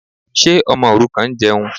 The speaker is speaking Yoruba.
Ṣé ọmọ òrukàn ń jẹun?